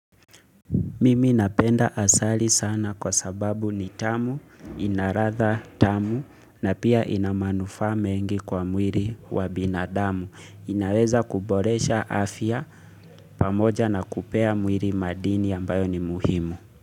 Mimi napenda asali sana kwa sababu ni tamu, ina ladha tamu na pia ina manufaa mengi kwa mwili wa binadamu. Inaweza kuboresha afya pamoja na kupea mwiri madini ambayo ni muhimu.